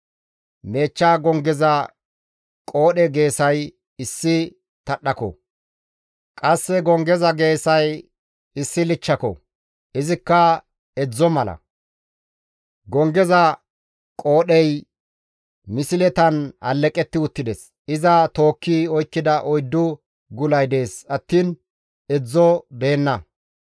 Meechcha gonggeza qoodhe geesay issi tadhdhako; qasse gonggeza geesay issi wadha mala; izikka edzdzo mala; gonggeza qoodhey misletan alleqetti uttides; iza tookki oykkida oyddu gulay dees attiin edzdzo deenna.